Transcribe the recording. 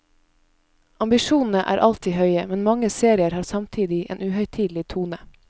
Ambisjonene er alltid høye, men mange serier har samtidig en uhøytidelig tone.